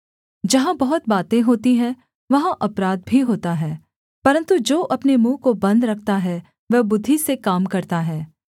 जहाँ बहुत बातें होती हैं वहाँ अपराध भी होता है परन्तु जो अपने मुँह को बन्द रखता है वह बुद्धि से काम करता है